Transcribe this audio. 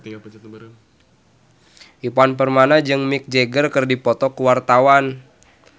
Ivan Permana jeung Mick Jagger keur dipoto ku wartawan